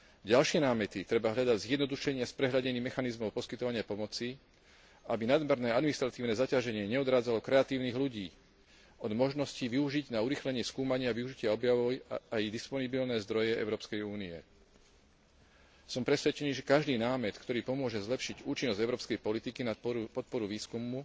Ďalšie námety treba hľadať v zjednodušení a sprehľadnení mechanizmov poskytovania pomoci, aby nadmerné administratívne zaťaženie neodrádzalo kreatívnych ľudí od možnosti využiť na urýchlenie skúmania a využitia objavov aj disponibilné zdroje Európskej únie. Som presvedčený, že každý námet, ktorý pomôže zlepšiť účinnosť európskej politiky na podporu výskumu,